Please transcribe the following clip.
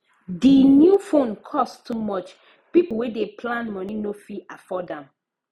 the new phone cost too much people wey dey plan money no fit afford am